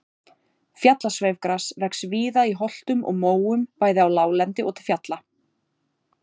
fjallasveifgras vex víða í holtum og móum bæði á láglendi og til fjalla